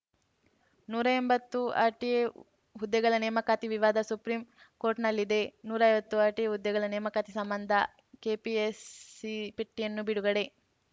ನೂರೆಂಬತ್ತು RT ಹುದ್ದೆಗಳ ನೇಮಕಾತಿ ವಿವಾದ ಸುಪ್ರೀಂಕೋರ್ಟ್‌ನಲ್ಲಿದೆ ನೂರೈವತ್ತು ಆರ್‌ಟಿಒ ಹುದ್ದೆಗಳ ನೇಮಕಾತಿಗೆ ಸಂಬಂಧ ಕೆಪಿಎಸ್‌ಸಿ ಪಟ್ಟಿಯನ್ನೇ ಬಿಡುಗಡೆ